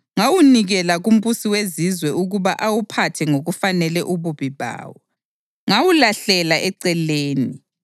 ngawunikela kumbusi wezizwe ukuba awuphathe ngokufanele ububi bawo. Ngawulahlela eceleni,